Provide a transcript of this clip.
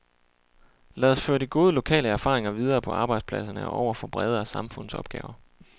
Lad os føre de gode lokale erfaringer videre på arbejdspladserne og over for bredere samfundsopgaver.